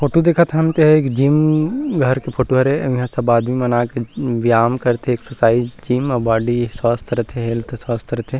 Photo देखत हन तेहा एक जिम घर के फोटो हरे अऊ इहाँ सब आदमी मन आके व्यायाम करथे एक्सरसाइज ज़िम और बॉडी स्वस्थ रथे हेल्थ स्वस्थ रथे।